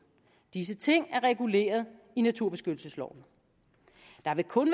disse ting er reguleret i naturbeskyttelsesloven der vil kun